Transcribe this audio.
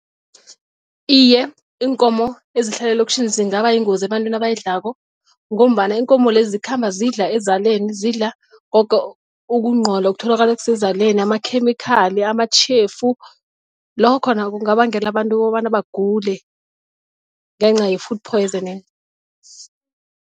Iye, iinkomo ezihlala elokitjhini zingaba yingozi ebantwini abayidlalako ngombana iinkomo lezi zikhamba zidla ezaleni zidla koke ukunqola okutholaka kusezaleni amakhemikhali amatjhefu lokho khona kungabangela abantu kobana bagule ngenca ye-food piosoning.